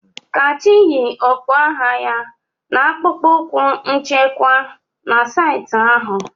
Kachi yi okpu agha ya na akpụkpọ ụkwụ nchekwa na saịtị ahụ.